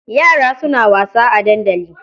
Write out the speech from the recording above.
Yara suna wasa a dandali.